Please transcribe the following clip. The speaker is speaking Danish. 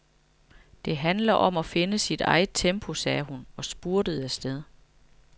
Det handler om at finde sit eget tempo, sagde hun og spurtede afsted.